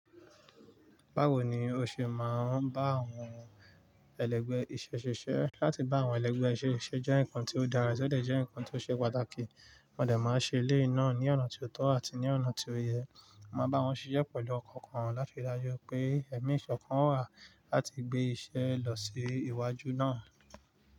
Báwo ni o ṣe máa ń bá àwọn ẹlẹ́gbẹ̀ẹ́ iṣẹ́ ṣiṣẹ́ láti bá àwọn ẹlẹ́gbẹ̀ẹ́ iṣẹ́ jẹ nǹkan tó dára, sì jẹ́ ǹkan tó ṣe pàtàkì, wọ́n dẹ̀ máa ṣe ilé náà ní ọ̀nà tó tọ́ àti ní ọ̀nà tí ó yẹ. Ma bá wọn ṣiṣẹ́ pẹ̀lú ọkọọkan láti dájú pé ẹ̀mí ìṣọ̀kan wà láti gbé iṣẹ́ lọ sí iwájú náà.